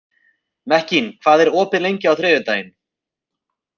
Mekkin, hvað er opið lengi á þriðjudaginn?